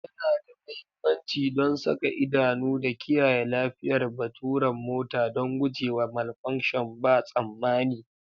Yana da mahimmanci don saka idanu da kiyaye lafiyar baturan mota don gujewa malfunction ba tsammani.